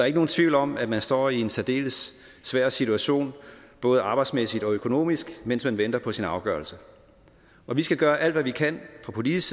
ikke nogen tvivl om at man står i en særdeles svær situation både arbejdsmæssigt og økonomisk mens man venter på sin afgørelse og vi skal gøre alt hvad vi kan fra politisk